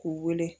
K'u wele